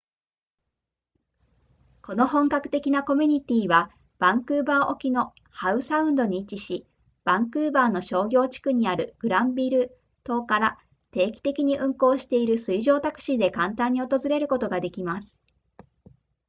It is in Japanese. この本格的なコミュニティはバンクーバー沖のハウサウンドに位置しバンクーバーの商業地区にあるグランビル島から定期的に運航している水上タクシーで簡単に訪れることができます